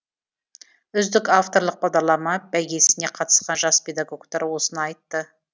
үздік авторлық бағдарлама бәйгесіне қатысқан жас педагогтар осыны айтты